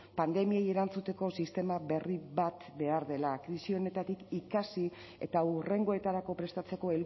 pandemiei erantzuteko sistema berri bat behar dela krisi honetatik ikasi eta hurrengoetarako prestatzeko